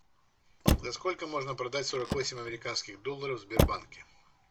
за сколько можно продать сорок восемь американских долларов в сбербанке